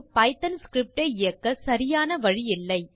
Python script ஐ இயக்க சரியான வழி இல்லை